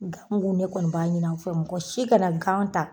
Gamugu ne kɔni b'a ɲin'aw fɛ mɔgɔ si kana gan ta